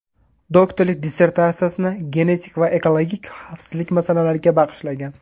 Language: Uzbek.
Doktorlik dissertatsiyasini genetik va ekologik xavfsizlik masalalariga bag‘ishlagan.